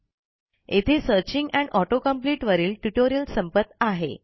येथे searching and auto complete वरील tutorial संपत आहे